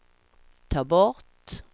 ta bort